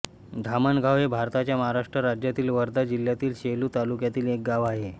धामणगाव हे भारतातील महाराष्ट्र राज्यातील वर्धा जिल्ह्यातील सेलू तालुक्यातील एक गाव आहे